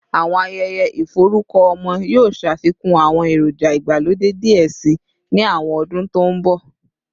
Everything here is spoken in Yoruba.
Awọn ayẹyẹ iforukọ ọmọ yoo ṣafikun awọn eroja igbalode diẹ sii ni awọn ọdun to nbọ